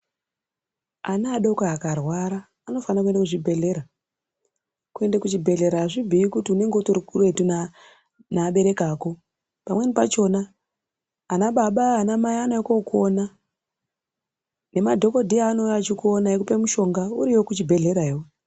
Ana adoko akarwara anofana kuenda kuzvibhedhlera kuenda kuzvibhedhlera azvibhuyi kuti unenge utori kuretu neabereki ako pamweni pachona anababa anamai anouya kokuona nemadhokodheya anouya achikuona achikupi mushonga uriyo kuchibhedhlerayo.